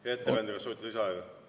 Hea ettekandja, kas soovite lisaaega?